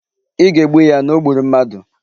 Ị ga-egbu ya na o gburu mmadu!